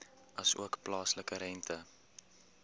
asook plaaslike rente